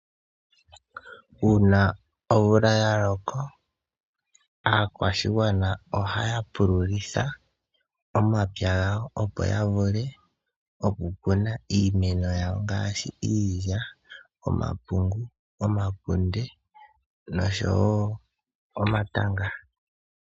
Uuna omvula yaloka , aakwashigwana ohaya pululitha omapya gawo opo yavule okukuna iimeno yawo ngaashi iilya, omapungu , omakunde noshowoo omatanga.